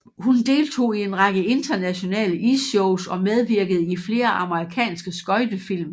Hun deltog i en række internationale isshows og medvirkede i flere amerikanske skøjtefilm